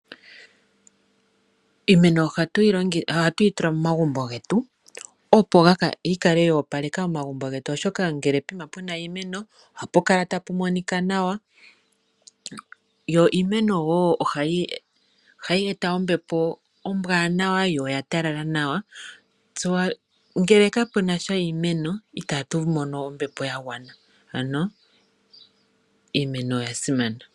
Iimeno oha tuyi tula momagumbo getu .opo yi kale yo opaleka momagumbo getu oshoka ngele po kuma pu na iimeno ohapu kala ta pu monika nawa, yo iimeno woo oha yi eta ombepo ombwanawa yo oya talala nawa . Ngele ka punasha iimeno I tatu mono ombepo yagwana ano iimeno oyasimana.